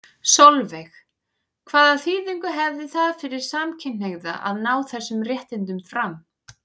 Sólveig: Hvaða þýðingu hefði það fyrir samkynhneigða að ná þessum réttindum fram?